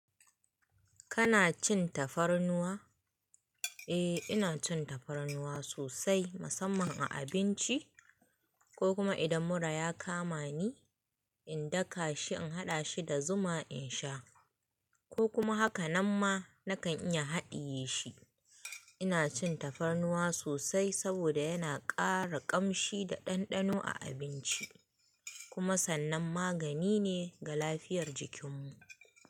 Kana cin tafarnuwa? Eh, ina cin tafarnuwa sosai musamman a abinci ko kuma idan mura ya kama ni, in daka shi in haɗa shi da zuma in sha ko kuma hakanan ma na kan iya haɗiye shi. Ina cin tafarnuwa sosai saboda yana ƙara ƙamshi da ɗanɗano a abinci kuma sannan magani ne ga lafiyar jikinmu.